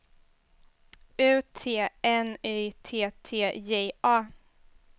U T N Y T T J A